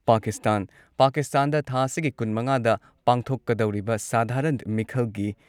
ꯄꯥꯀꯤꯁꯇꯥꯟ ꯄꯥꯀꯤꯁꯇꯥꯟꯗ ꯊꯥ ꯑꯁꯤꯒꯤ ꯀꯨꯟꯃꯉꯥꯗ ꯄꯥꯡꯊꯣꯛꯀꯗꯧꯔꯤꯕ ꯁꯙꯥꯔꯟ ꯃꯤꯈꯜꯒꯤ